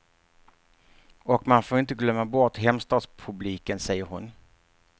Och man får inte glömma bort hemstadspubliken, säger hon.